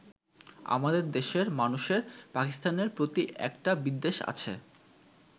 আমাদের দেশের মানুষের পাকিস্তানের প্রতি একটা বিদ্বেষ আছে।